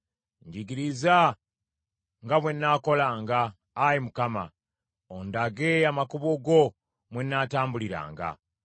Njigiriza nga bwe nnaakolanga, Ayi Mukama , ondage amakubo go mwe nnaatambuliranga.